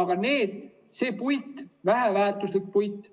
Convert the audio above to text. Aga see puit, väheväärtuslik puit,